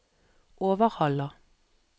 Overhalla